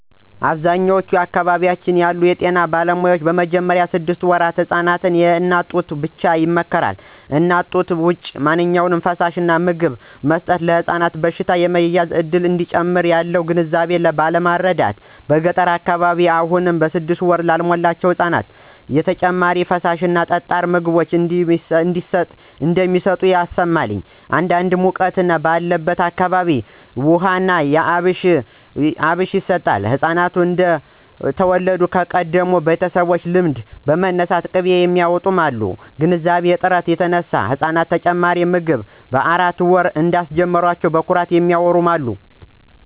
በአብዛኛዎቹ አካባቢዎች ያሉ የጤና ባለሙያዎች በመጀመሪያ ስድስት ወራት ህፃናት የእናት ጡትን ብቻ ይመክራሉ። ከእናት ጡት ውጭ ማንኛውም ፈሳሽ/ምግብ መስጠት ለሕፃኑ በሽታ የመያዝ እድልን እንደሚጨምር ያለው ግንዛቤ ባለማረዳት በገጠሩ አካባቢ አሁንም ስድስት ወር ላልሞላቸው ጨቅላ ህፃናት ተጨማሪ ፈሳሽ እና ጠጣር ምግብ እንደሚሰጡ ይሰማል። አንዳንዴ ሙቀት ባለበት ወቅት ውሃ ና የአብሽ ውሃ ይሰጣል፣ ህፃናት እንደተወለዱ ከቀደሙ ቤተሰቦች ልምድ በመነሳት ቅቤ የሚያውጡም አሉ። ከግንዛቤ እጥረት የተነሳ ህፃናቶችን ተጨማሪ ምግብ በአራት ወር እንዳስጀመሯቸው በኩራት የሚያዎሩ አሉ።